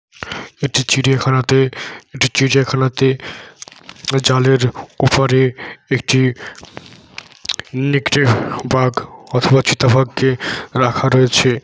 একটি চিড়িয়া খানাতে একটি চিড়িয়া খানাতে জালের উপরে একটি নেকড়ে বাঘ অথবা চিতা বাঘকে রাখা রয়েছে।